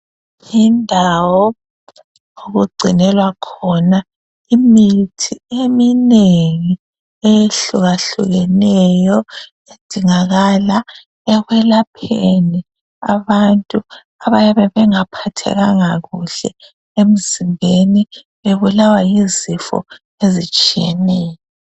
Yindawo okugcinelwa khona imithi eminengi eyehlukahlukeneyo edingakala ekwelapheni abantu abayabe bengaphathekanga kuhle emzimbeni bebulawa yizifo ezitshiyeneyo.